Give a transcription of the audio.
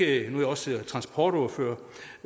er jeg også transportordfører